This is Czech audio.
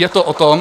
Je to o tom...